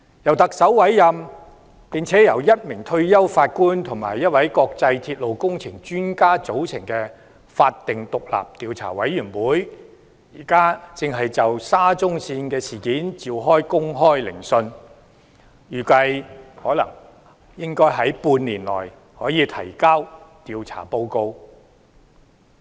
由特首委任並由1名退休法官及1位國際鐵路工程專家組成的法定獨立調查委員會，現正就沙中線事件召開公開聆訊，預計可於半年內提交調查報告。